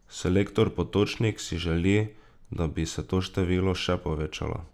Selektor Potočnik si želi, da bi se to število še povečalo.